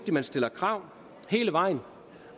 at man stiller krav hele vejen